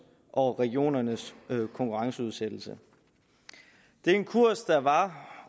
og regionernes konkurrenceudsættelse det er en kurs der var